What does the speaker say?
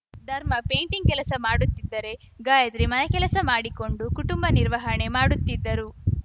ಧರ್ಮ ಪೇಟಿಂಗ್‌ ಕೆಲಸ ಮಾಡುತಿದ್ದರೆ ಗಾಯಿತ್ರಿ ಮನೆ ಕೆಲಸ ಮಾಡಿಕೊಂಡು ಕುಟುಂಬ ನಿರ್ವಹಣೆ ಮಾಡುತ್ತಿದ್ದರು